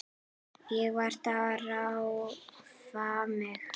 Ég varð að drífa mig.